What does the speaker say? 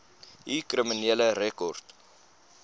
u kriminele rekord